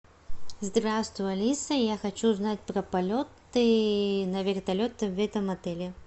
здравствуй алиса я хочу узнать про полеты на вертолете в этом отеле